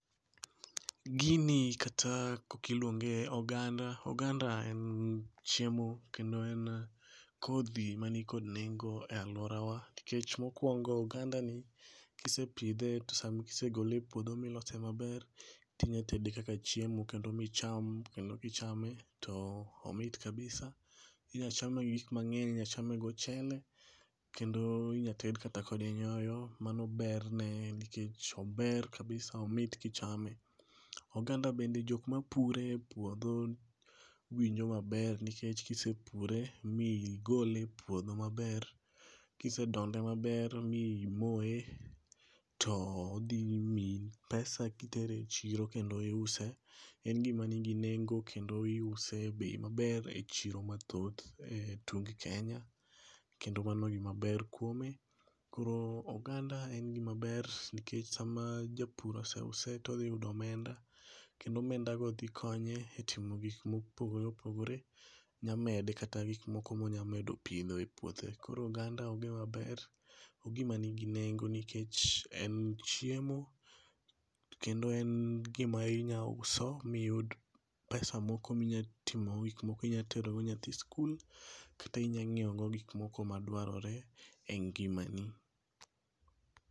Gini kata kokiluonge oganda. Oganda en chiemo kendo en kodhi manikod nengo e alworawa nikech mokwongo ogandani kisepidhe to sami isegole e puodho milose maber tinya tede kaka chiemo kendo micham kendo kichame to omit kabisa inyachame gi gikmang'eny inyachame gochele, kendo inyated kode kata nyoyo mano berne en nikech ober kabisa omit kichame. Oganda bende jok mapure e puodho winjo maber nikech kisepure migole e puodho maber kisedonde maber mimoye, to odhimiyi pesa kitere e chiro kendo iuse. En gimanigi nengo kendo iuse e bei maber e chiro mathoth e tung Kenya kendo mano gimaber kuome, koro oganda en gimaber nikech sama japur oseuse todhiyudo omenda kendo omendago dhikonye e timo gik mopogore opogore., nyamede kata gikmoko monya medo pidho e puothe. Koro oganda ogimaber ogima nigi nengo nikech en chiemo kendo en gima inyauso miyud pesa moko minyatimogo gikmoko inyatero go nyathi e skul kata inya nyieogo gikmoko mmadwarore e ngimani.